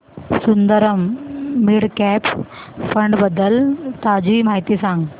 Sundaram mid cap fund बद्दल ताजी माहिती सांग